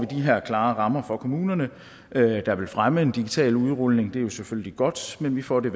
de her klare rammer for kommunerne der vil fremme en digital udrulning det jo selvfølgelig godt men vi får det